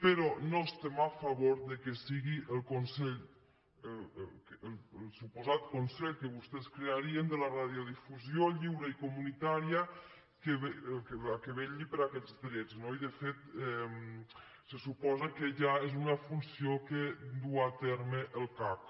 però no estem a favor que sigui el suposat consell que vostès crearien de la radiodifusió lliure i comunitària qui vetlli per aquests drets no i de fet se suposa que ja és una funció que duu a terme el cac